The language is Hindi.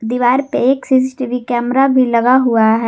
दीवार पे एक सी_सी_टी_वी कैमरा भी लगा हुआ है।